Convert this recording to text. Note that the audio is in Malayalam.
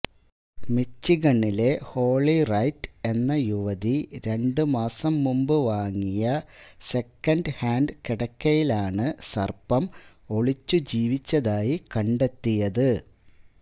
മിച്ചിഗണിലെ ഹോളി റൈറ്റ് എന്ന യുവതി രണ്ട് മാസം മുമ്പ് വാങ്ങിയ സെക്കന്റ് ഹാന്റ് കിടക്കയിലാണ് സര്പ്പം ഒളിച്ചുജീവിച്ചതായി കണ്ടെത്തിയത്